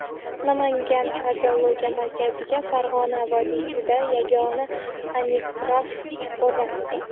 Namangan kardiologiya markaziga Farg‘ona vodiysida yagona angiograf o‘rnatildi.